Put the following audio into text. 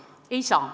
Ei saa.